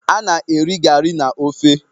Ana eri gari na ofe